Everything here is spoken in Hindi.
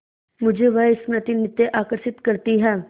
मुझे वह स्मृति नित्य आकर्षित करती है